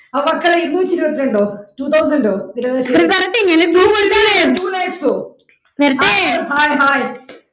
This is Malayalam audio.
അപ്പൊ മക്കളെ ഇരുന്നൂറ്റി ഇരുപത്തിരണ്ടോ two thousand ഓ correct തന്നെയാണ് വരട്ടെ